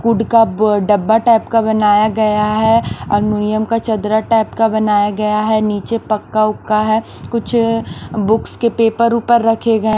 could का ब डब्बा टाइप का बनाया गया है एलुमिनियम का चदरा टाइप का बनाया गया है नीचे पक्का उक्का है कुछ बुक्स के पेपर ऊपर रखे गए --